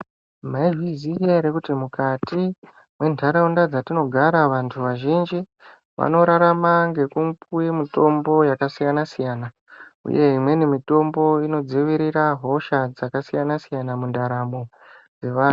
Maizviziya ere kuti mukati mwenharaunda mwatinogara vantu vazhinji vanorarama ngekupuwe mitombo yakasiyanasiyana uye imweni mitombo inodziirire hosha dzakasiyansiyana mundaramo dzevanhu.